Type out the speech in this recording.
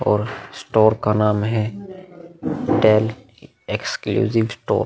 और स्टोर का नाम है डेल एक्सक्लूसिव स्टोर |